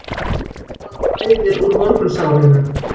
Það blæðir úr morgunsárinu